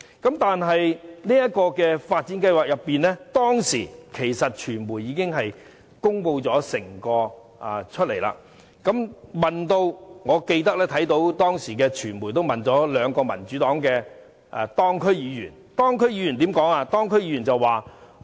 關於這個發展計劃，當時傳媒已經作全面公開，我更記得當時傳媒曾向兩名民主黨的當區議員提問，他們怎樣回應？